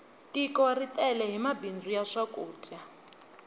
tiko ri tele hi mabindzu ya swakudya